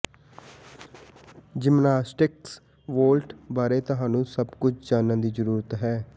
gymnastics vault ਬਾਰੇ ਤੁਹਾਨੂੰ ਸਭ ਕੁਝ ਜਾਣਨ ਦੀ ਜ਼ਰੂਰਤ ਹੈ